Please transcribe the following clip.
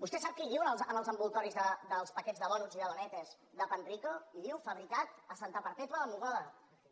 vostè sap què hi diu en els embolcalls dels paquets de donuts i de donettes de panrico hi diu fabricat a santa perpètua de mogoda